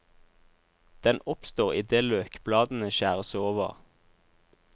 Den oppstår idet løkbladene skjæres over.